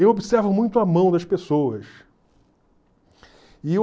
eu observo muito a mão das pessoas.